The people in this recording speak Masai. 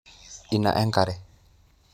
Ina e nkare